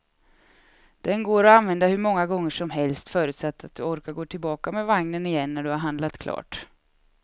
Den går att använda hur många gånger som helst, förutsatt att du orkar gå tillbaka med vagnen igen när du har handlat klart.